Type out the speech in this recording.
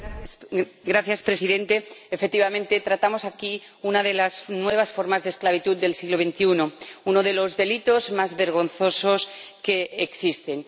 Señor Presidente, efectivamente, tratamos aquí una de las nuevas formas de esclavitud del siglo XXI, uno de los delitos más vergonzosos que existen.